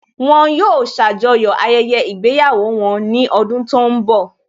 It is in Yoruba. Wọn yóò ṣàjọyọ̀ ayẹyẹ ìgbéyàwó wọn ní ọdún tó ń bọ̀